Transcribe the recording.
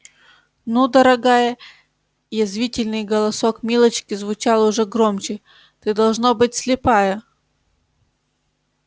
ну дорогая язвительный голосок милочки звучал уже громче ты должно быть слепая